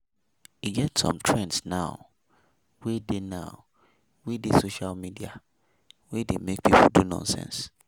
E get some trends now wey dey now wey dey social media wey dey make people do nonsense.